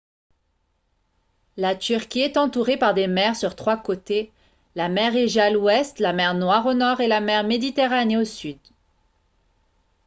la turquie est entourée par des mers sur trois côtés la mer égée à l'ouest la mer noire au nord et la mer méditerranée au sud